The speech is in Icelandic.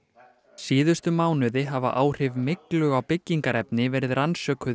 síðustu mánuði hafa áhrif myglu á byggingarefni verið rannsökuð í